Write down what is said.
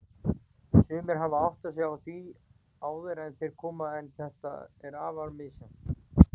Sumir hafa áttað sig á því áður en þeir koma, en þetta er afar misjafnt.